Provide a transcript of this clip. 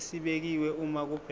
esibekiwe uma kubhekwa